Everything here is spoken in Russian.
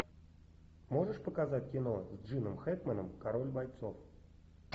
можешь показать кино с джином хэкменом король бойцов